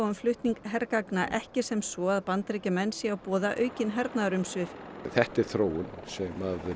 um flutning hergagna ekki sem svo að Bandaríkjamenn séu að boða aukin hernaðarumsvif þetta er þróun sem